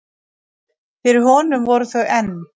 Fyrir honum voru þau enn